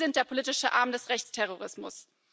Sie sind der politische Arm des Rechtsterrorismus.